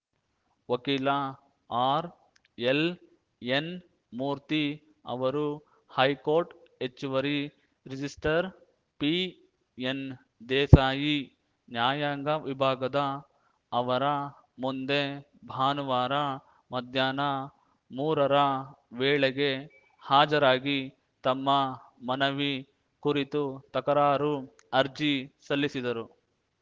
ವಕೀಲ ಆರ್‌ಎಲ್‌ಎನ್‌ಮೂರ್ತಿ ಅವರು ಹೈಕೋರ್ಟ್‌ ಹೆಚ್ಚುವರಿ ರಿಜಿಸ್ಟ್ರರ್‌ ಪಿಎನ್‌ದೇಸಾಯಿ ನ್ಯಾಯಾಂಗ ವಿಭಾಗದ ಅವರ ಮುಂದೆ ಭಾನುವಾರ ಮಧ್ಯಾಹ್ನ ಮೂರರ ವೇಳೆಗೆ ಹಾಜರಾಗಿ ತಮ್ಮ ಮನವಿ ಕುರಿತು ತಕರಾರು ಅರ್ಜಿ ಸಲ್ಲಿಸಿದರು